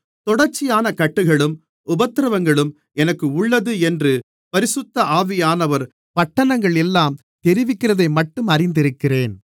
தொடர்ச்சியான கட்டுகளும் உபத்திரவங்களும் எனக்கு உள்ளது என்று பரிசுத்த ஆவியானவர் பட்டணங்களெல்லாம் தெரிவிக்கிறதைமட்டும் அறிந்திருக்கிறேன்